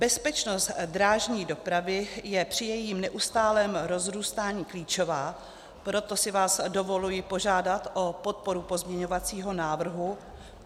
Bezpečnost drážní dopravy je při jejím neustálém rozrůstání klíčová, proto si vás dovoluji požádat o podporu pozměňovacího návrhu.